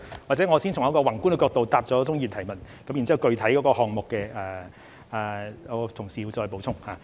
或者我先從一個宏觀的角度回答鍾議員的補充質詢，然後具體項目部分，我的同事會再補充。